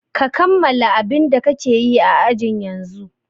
Ka kammala abin da kake yi a ajin yanzun!